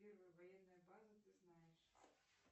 первая военная база ты знаешь